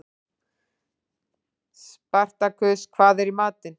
Spartakus, hvað er í matinn?